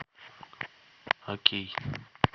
окей